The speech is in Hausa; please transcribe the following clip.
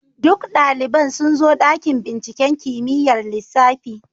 Duk daliban sun zo dakin binciken kimiyyar lissafi.